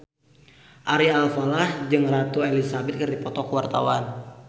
Ari Alfalah jeung Ratu Elizabeth keur dipoto ku wartawan